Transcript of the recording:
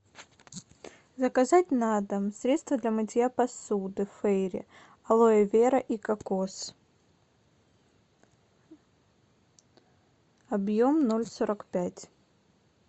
заказать на дом средство для мытья посуды фейри алоэ вера и кокос объем ноль сорок пять